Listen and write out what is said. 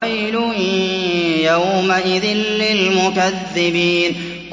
وَيْلٌ يَوْمَئِذٍ لِّلْمُكَذِّبِينَ